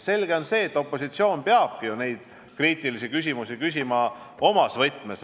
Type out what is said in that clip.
Selge on see, et opositsioon peabki ju neid kriitilisi küsimusi omas võtmes küsima.